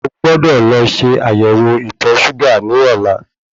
O gbọ́dọ̀ lọ ṣe ayẹwo ìtọ̀ ṣúgà ní ọ̀la